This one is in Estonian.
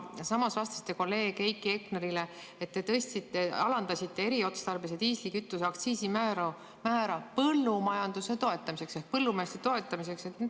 Samas vastasite kolleeg Heiki Hepnerile, et alandasite eriotstarbelise diislikütuse aktsiisimäära põllumajanduse toetamiseks ehk põllumeeste toetamiseks.